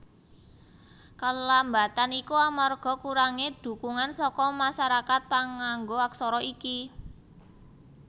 Kelambatan iki amarga kurangé dhukungan saka masarakat pangnggo aksara iki